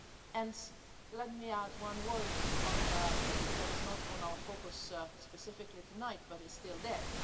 And let me add one word on something that is not on our focus specifically tonight but is still there.